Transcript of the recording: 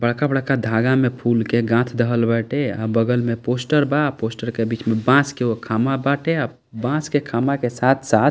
बड़का-बड़का धागा में फूल के गाथ देहल बाटे अ बगल में पोस्टर बा पोस्टर के बीच में बांस के एगो खम्भा बाटे अ बांस के खम्भा के साथ-साथ --